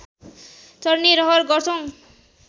चढ्ने रहर गर्छौ